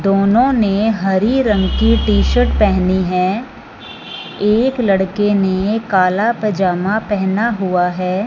दोनों ने हरी रंग की टी शर्ट पहनी है एक लड़के ने काला पैजामा पहना हुआ है।